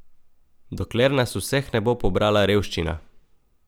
Dokler nas vseh ne bo pobrala revščina!